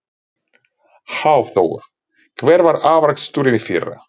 Hafþór: Hver var afraksturinn í fyrra?